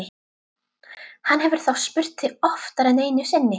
Hann hefur þá spurt þig oftar en einu sinni?